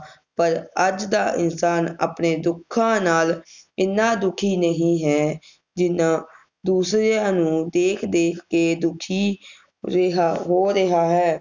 ਪਰ ਅੱਜ ਦਾ ਇਨਸਾਨ ਆਪਣੇ ਦੁੱਖਾਂ ਨਾਲ ਇੰਨਾ ਦੁਖੀ ਨਹੀਂ ਹੈ ਜਿੰਨਾ ਦੂਸਰਿਆਂ ਨੂੰ ਦੇਖ ਦੇਖ ਕੇ ਦੁਖੀ ਰਿਹਾ ਹੋ ਰਿਹਾ ਹੈ